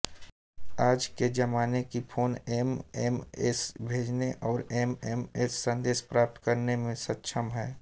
आज के ज़माने की फोन एमएमएस भेजने और एमएमएस संदेश प्राप्त करने में सक्षम हैं